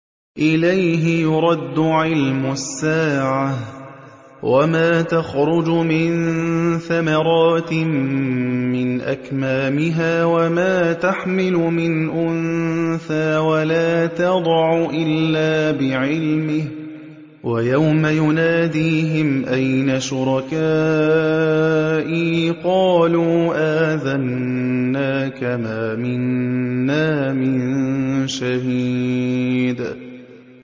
۞ إِلَيْهِ يُرَدُّ عِلْمُ السَّاعَةِ ۚ وَمَا تَخْرُجُ مِن ثَمَرَاتٍ مِّنْ أَكْمَامِهَا وَمَا تَحْمِلُ مِنْ أُنثَىٰ وَلَا تَضَعُ إِلَّا بِعِلْمِهِ ۚ وَيَوْمَ يُنَادِيهِمْ أَيْنَ شُرَكَائِي قَالُوا آذَنَّاكَ مَا مِنَّا مِن شَهِيدٍ